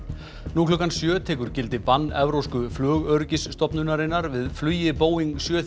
nú klukkan sjö tekur gildi bann evrópsku flugöryggisstofnunarinnar við flugi Boeing sjö